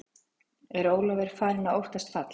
Er Ólafur farinn að óttast fall?